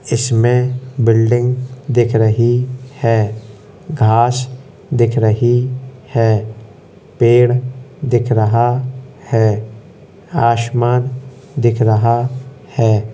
इसमें बिल्डिंग दिख रही है घास दिख रही है पेड़ दिख रहा है आशुमान दिख रहा है।